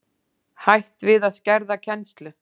Hætt við að skerða kennslu